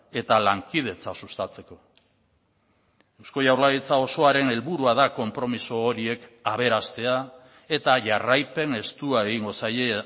eta lankidetza sustatzeko eusko jaurlaritza osoaren helburua da konpromiso horiek aberastea eta jarraipen estua egingo zaie